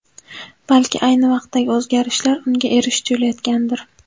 Balki ayni vaqtdagi o‘zgarishlar unga erish tuyulayotgandir.